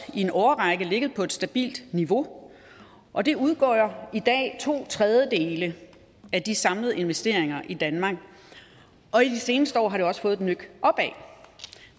i en årrække ligget på et stabilt niveau og de udgør i dag to tredjedele af de samlede investeringer i danmark og i de seneste år har de også fået et nøk opad